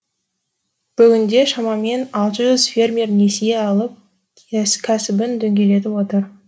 бүгінде шамамен алты жүз фермер несие алып кәсібін дөңгелетіп отыр